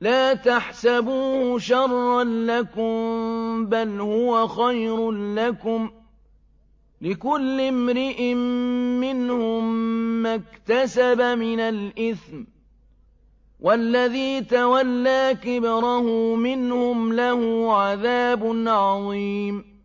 لَا تَحْسَبُوهُ شَرًّا لَّكُم ۖ بَلْ هُوَ خَيْرٌ لَّكُمْ ۚ لِكُلِّ امْرِئٍ مِّنْهُم مَّا اكْتَسَبَ مِنَ الْإِثْمِ ۚ وَالَّذِي تَوَلَّىٰ كِبْرَهُ مِنْهُمْ لَهُ عَذَابٌ عَظِيمٌ